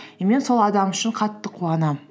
и мен сол адам үшін қатты қуанамын